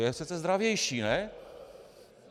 Je přece zdravější, ne?